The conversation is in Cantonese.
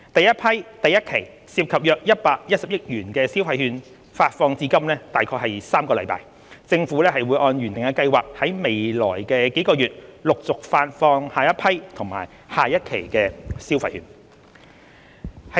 首批第一期涉及約110億元的消費券發放至今約3個星期，政府會按原定計劃在未來數個月陸續發放下一批及下一期消費券。